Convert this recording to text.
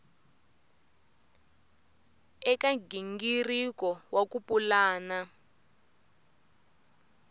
eka nghingiriko wa ku pulana